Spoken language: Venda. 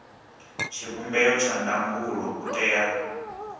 tshivhumbeo tsha ndangulo u tea